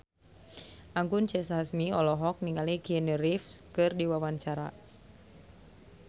Anggun C. Sasmi olohok ningali Keanu Reeves keur diwawancara